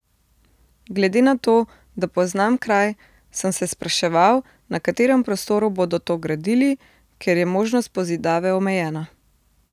Glede na to, da poznam kraj, sem se spraševal, na katerem prostoru bodo to gradili, ker je možnost pozidave omejena.